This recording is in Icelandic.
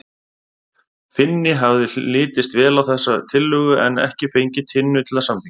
Finni hafði litist vel á þessa tillögu en ekki fengið Tinnu til að samþykkja hana.